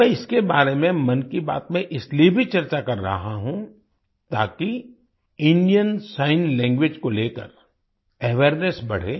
मैं इसके बारे में मन की बात में इसलिए भी चर्चा कर रहा हूँ ताकि इंडियन सिग्न लैंग्वेज को लेकर अवेयरनेस बढ़े